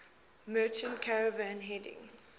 merchant caravan heading